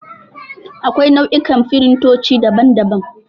Akwai nau'ikan firintoci, daban daban.